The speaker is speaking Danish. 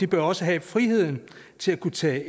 bør også have friheden til at kunne tage